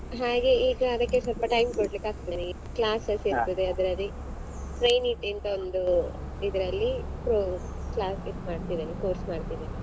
ಹಾಗೆ ಈಗ ಅದಕ್ಕೆ ಸ್ವಲ್ಪ time ಕೊಡ್ಬೇಕಾಗ್ತಾದೆ classes ಇರ್ತದೆ ಅದ್ರಲ್ಲಿ train it ಅಂತ ಒಂದು ಇದ್ರಲ್ಲಿ ಹು class ಇದ್ ಮಾಡ್ತಿದ್ದೇನೆ course ಮಾಡ್ತಿದ್ದೇನೆ .